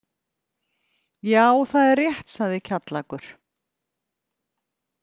Já, það er rétt, sagði Kjallakur.